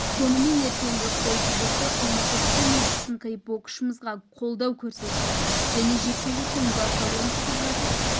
сонымен ертеңгі қой кезекті ұмытып түн ұйқысын қиып боксшымызға қолдау көрсеткен және жекпе-жектің басталуын күтіп жатып